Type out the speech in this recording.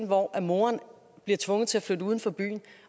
hvor moderen bliver tvunget til at flytte uden for byen